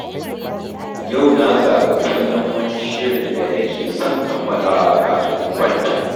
Yau na zaɓi kallon wani shirin da nake son kammalawa kafin in kwanta.